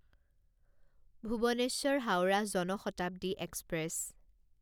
Bhubaneswar Howrah Jan Shatabdi express